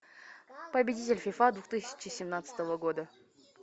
победитель фифа две тысячи семнадцатого года